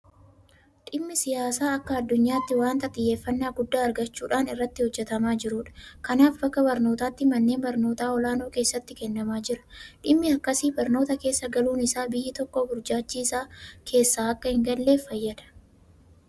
Dhimmi siyaasaa akka addunyaatti waanta xiyyeeffannaa guddaa argachuudhaan irratti hojjetamaa jirudha. Kanaaf akka barnootaatti manneen barnootaa olaanoo keessatti kennamaa jira. Dhimmi akkasii barnoota keessa galuun isaa biyyi tokko burjaajii isaa keessa akka hingalleef fayyada.